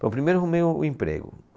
Primeiro arrumei um, um emprego.